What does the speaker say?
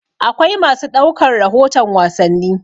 Akwai masu ɗaukar rahoton wasanni.